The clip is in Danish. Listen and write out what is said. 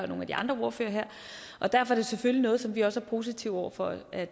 nogle af de andre ordførere her og derfor er det selvfølgelig noget som vi også er positive over for at